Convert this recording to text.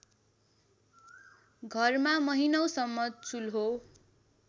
घरमा महिनौसम्म चुल्हो